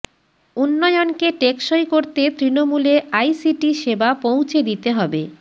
উন্নয়নকে টেকসই করতে তৃণমূলে আইসিটি সেবা পৌঁছে দিতে হবে